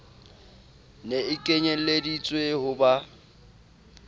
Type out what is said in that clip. ne e kenyelleditswe ho ba